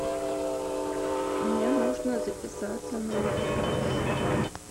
мне нужно записаться на массаж